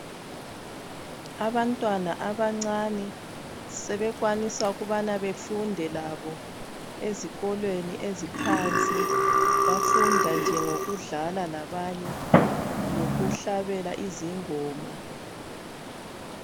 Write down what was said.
Abantwana abancane sebekwanisa ukubana befunde labo ezikolweni eziphansi bafunda nje ngokudlala labanye lokuhlabela izingoma